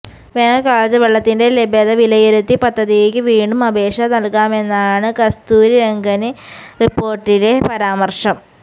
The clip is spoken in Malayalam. വേനല്ക്കാലത്ത് വെള്ളത്തിന്റെ ലഭ്യത വിലയിരുത്തി പദ്ധതിക്ക് വീണ്ടും അപേക്ഷ നല്കാമെന്നാണ് കസ്തൂരിരംഗന് റിപ്പോര്ട്ടിലെ പരാമര്ശം